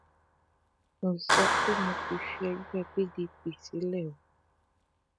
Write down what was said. mi ò sọ pé mo ti fi ẹgbẹ pdp sílẹ o